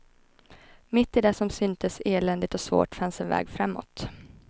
Mitt i det som syntes eländigt och svårt, fanns en väg framåt.